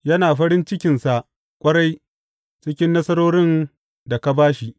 Yana farin cikinsa ƙwarai cikin nasarorin da ka ba shi!